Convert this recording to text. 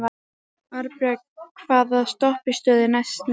Arnbjörg, hvaða stoppistöð er næst mér?